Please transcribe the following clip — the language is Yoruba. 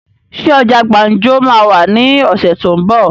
Ṣé ọjà gbàǹjo máa wà ní ọ̀sẹ̀ tó ún bọ̀?